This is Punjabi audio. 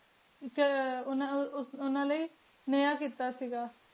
ਕੀ ਉਨਾ ਲੈ ਨਯਾ ਕੀਤਾ ਸੇ ਗਾ